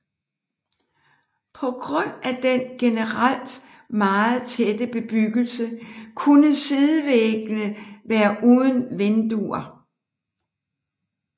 På grund af den generelt meget tætte bebyggelse kunne sidevæggene være uden vinduer